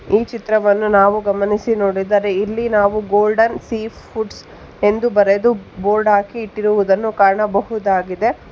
ಈ ಚಿತ್ರವನ್ನು ನಾವು ಗಮನಿಸಿ ನೋಡಿದರೆ ಇಲ್ಲಿ ನಾವು ಗೋಲ್ಡನ್ ಸೀ ಫುಡ್ಸ್ ಎಂದು ಬರೆದು ಬೋರ್ಡ್ ಹಾಕಿ ಇಟ್ಟಿರುವುದನ್ನು ಕಾಣಬಹುದಾಗಿದೆ.